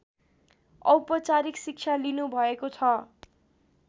औपचारिक शिक्षा लिनुभएको छ